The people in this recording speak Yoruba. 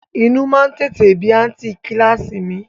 Inú má ń tètè bí àǹtí i kíláàsì mi